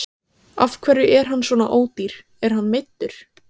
Af hverju er hann svona ódýr, er hann meiddur?